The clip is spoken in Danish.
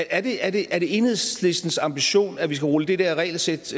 ærligt er det er det enhedslistens ambition at vi skal rulle det der regelsæt